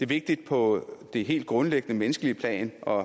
vigtigt på det helt grundlæggende menneskelige plan og